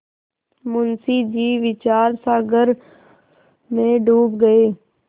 मुंशी जी विचारसागर में डूब गये